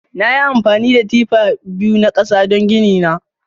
Nayi amfani da tifa biyu na kasa don gini na.